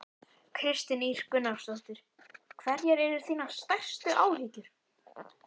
Kristín Ýr Gunnarsdóttir: Hverjar eru þínar stærstu áhyggjur?